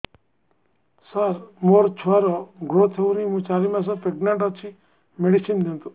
ସାର ମୋର ଛୁଆ ର ଗ୍ରୋଥ ହଉନି ମୁ ଚାରି ମାସ ପ୍ରେଗନାଂଟ ଅଛି ମେଡିସିନ ଦିଅନ୍ତୁ